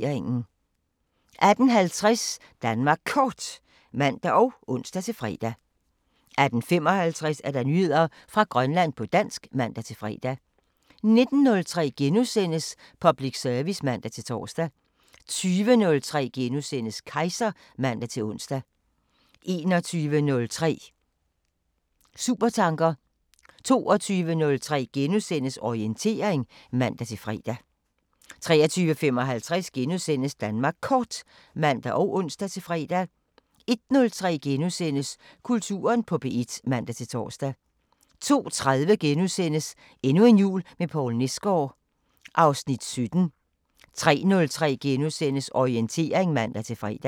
18:50: Danmark Kort (man og ons-fre) 18:55: Nyheder fra Grønland på dansk (man-fre) 19:03: Public service *(man-tor) 20:03: Kejser *(man-ons) 21:03: Supertanker 22:03: Orientering *(man-fre) 23:55: Danmark Kort *(man og ons-fre) 01:03: Kulturen på P1 *(man-tor) 02:30: Endnu en jul med Poul Nesgaard (Afs. 17)* 03:03: Orientering *(man-fre)